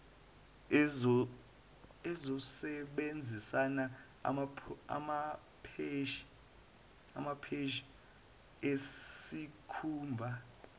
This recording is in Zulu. uzosebenzisa amapheshi esikhumba